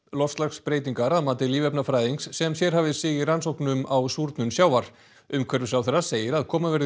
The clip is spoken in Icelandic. loftslagsbreytingar að mati lífefnafræðings sem sérhæfir sig í rannsóknum á súrnun sjávar umhverfisráðherra segir að koma verði